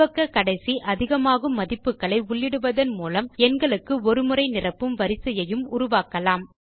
துவக்க கடைசி அதிகமாகும் மதிப்புகளை உள்ளிடுவதன் மூலம் எண்களுக்கு ஒரு முறை நிரப்பும் வரிசையையும் உருவாக்கலாம்